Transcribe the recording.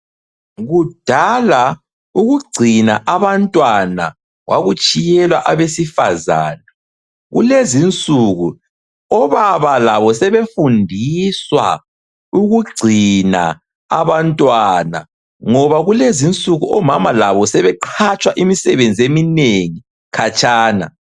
Kudala ukugcina abantwana kwakutshiyelwa abesifazana kulezi insuku obaba labo sebefundiswa ukugcina Abantwana ngoba kulezi insuku omama labo sebeqhatshwa imisebenzi eminengi khatshana